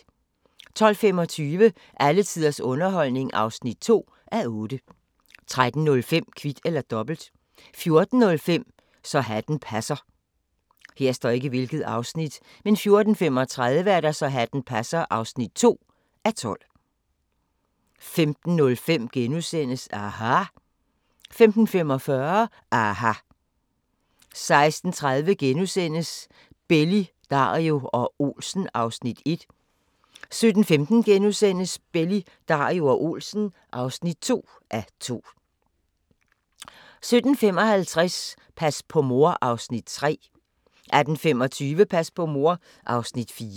12:25: Alle tiders underholdning (2:8) 13:05: Kvit eller Dobbelt 14:05: Så hatten passer 14:35: Så hatten passer (2:12) 15:05: aHA! * 15:45: aHA! 16:30: Belli, Dario og Olsen (1:2)* 17:15: Belli, Dario og Olsen (2:2)* 17:55: Pas på mor (Afs. 3) 18:25: Pas på mor (Afs. 4)